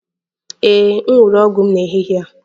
Ee m ṅụrụ ọgwụ m n'ehihie a